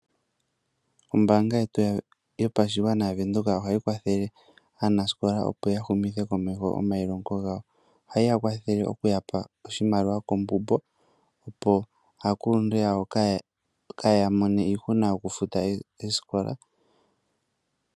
Ombanga yetu yopashigwana yaVenduka ohayi kwathele aanasikola opo ya humithe komeho omayilongo gawo. Ohayi ya kwathele oku yapa oshimaliwa oombumbo opo aakuluntu yawo kaaya mone iihuna oku futa oosikola.